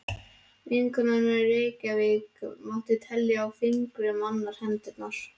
Vinkonur hennar í Reykjavík mátti telja á fingrum annarrar handar.